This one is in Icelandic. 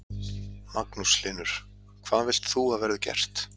Magnús Hlynur: Hvað vilt þú að verði gert?